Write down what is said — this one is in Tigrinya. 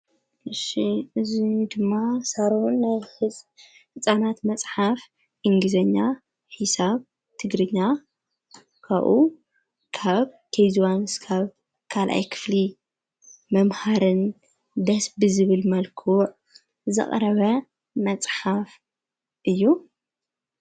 እዙ ድማ ሣሮን ናብ ሕፃናት መጽሓፍ ኢንጊዜኛ ሕሳብ ትግርኛ ካኡ ካብ ከጂ ዋን ስካብ ካልኣይ ክፍሊ መምሃርን ደስ ዝብል መልክዕ ዘቕረበ መጽሓፍ እዩ::